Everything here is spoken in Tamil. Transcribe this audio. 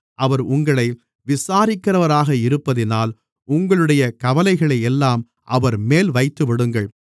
அவர் உங்களை விசாரிக்கிறவராக இருப்பதினால் உங்களுடைய கவலைகளையெல்லாம் அவர்மேல் வைத்துவிடுங்கள்